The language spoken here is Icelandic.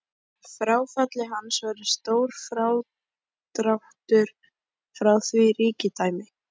Með fráfalli hans verður stór frádráttur frá því ríkidæmi.